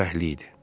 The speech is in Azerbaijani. Fərəhli idi.